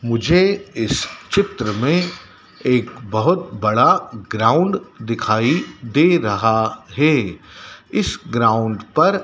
मुझे इस चित्र में एक बहुत बड़ा ग्राउंड दिखाई दे रहा है इस ग्राउंड पर--